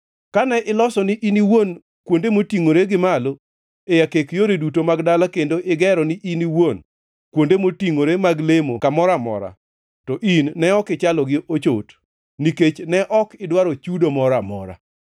Kane iloso ni in iwuon kuonde motingʼore gi malo e akek yore duto mag dala kendo igero ni iwuon kuonde motingʼore mag lemo kamoro amora, to in ne ok ichalo gi ochot, nikech ne ok idwaro chudo moro amora.